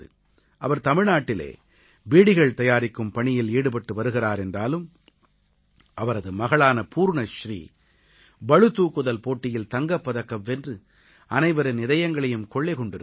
அவர் தமிழ்நாட்டிலே பீடிகள் தயாரிக்கும் பணியில் ஈடுபட்டு வருகிறார் என்றாலும் அவரது மகளான பூர்ணஸ்ரீ பளுதூக்குதல் போட்டியில் தங்கப் பதக்கம் வென்று அனைவரின் இதயங்களையும் கொள்ளை கொண்டிருக்கிறார்